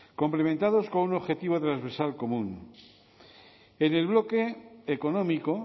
complementados con un objetivo transversal común en el bloque económico